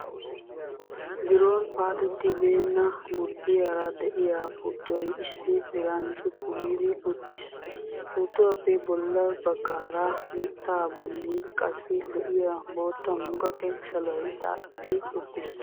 Biroon paatettibeenna, burddiyaara de'iyaa puuttoy issi diran cuppu giidi uttiis. Puuttuwaappe bolla baggaara mittaa bolli qassi lo'iya, bootta muqaqe shaloy xaaxetti uttiis.